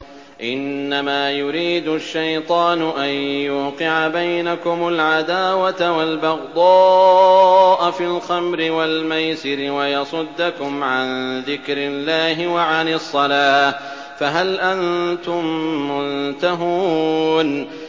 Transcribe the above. إِنَّمَا يُرِيدُ الشَّيْطَانُ أَن يُوقِعَ بَيْنَكُمُ الْعَدَاوَةَ وَالْبَغْضَاءَ فِي الْخَمْرِ وَالْمَيْسِرِ وَيَصُدَّكُمْ عَن ذِكْرِ اللَّهِ وَعَنِ الصَّلَاةِ ۖ فَهَلْ أَنتُم مُّنتَهُونَ